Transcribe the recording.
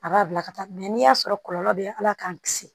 A b'a bila ka taa n'i y'a sɔrɔ kɔlɔlɔ bɛ ala k'an kisi